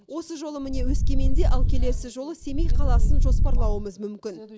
осы жолы міне өскеменде ал келесі жолы семей қаласын жоспарлауымыз мүмкін